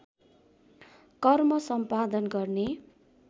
कर्म सम्पादन गर्ने